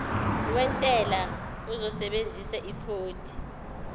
wentela uzosebenzisa ikhodi